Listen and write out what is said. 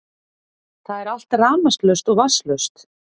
Það er allt rafmagnslaust og vatnslaust